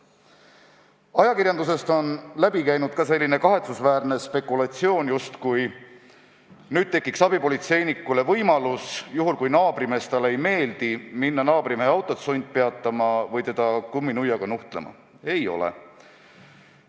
Ajakirjandusest on läbi käinud ka selline kahetsusväärne spekulatsioon, justkui tekiks nüüd abipolitseinikul võimalus minna naabrimehe autot sundpeatama või teda kumminuiaga nuhtlema, juhul kui naabrimees talle ei meeldi.